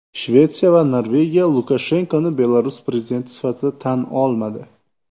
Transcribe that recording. Shvetsiya va Norvegiya Lukashenkoni Belarus prezidenti sifatida tan olmadi.